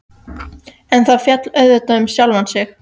En það féll auðvitað um sjálft sig.